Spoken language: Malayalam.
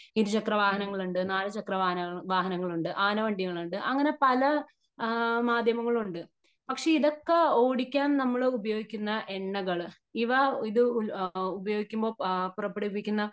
ഇരു ചക്ര വാഹനങ്ങള് ഉണ്ട് നാല്ചക്ര വാഹനങ്ങൾ ഉണ്ട് ആന വണ്ടികൾ ഉണ്ട് . അങ്ങനെ പല ആ മാധ്യമങ്ങളുണ്ട് . പക്ഷേ ഇതൊക്കെ ഓടിക്കാൻ നമ്മള് ഉപയോഗിക്കുന്ന എണ്ണകള് ഇവ ഇത് ഉപയോഗിക്കുമ്പോ പുറപ്പെടുവിക്കുന്ന